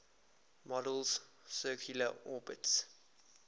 model's circular orbits